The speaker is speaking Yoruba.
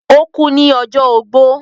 ó kú ní ọjọ́ ogbó.